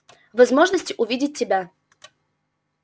возможности увидеть тебя